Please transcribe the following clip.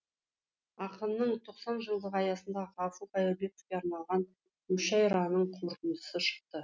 ақынның тоқсан жылдығы аясында ғафу қайырбековке арналған мүшәйраның қорытындысы шықты